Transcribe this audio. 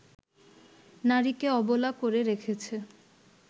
নারীকে অবলা করে রেখেছে